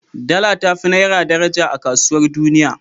Dala ta fi naira daraja a kasuwar duniya.